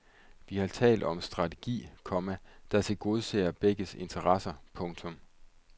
Vi har talt om en strategi, komma der tilgodeser begges interesser. punktum